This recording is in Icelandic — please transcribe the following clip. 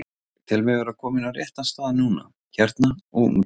Ég tel mig vera kominn á rétta stað núna, hérna og úti.